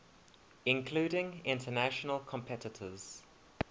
including international competitors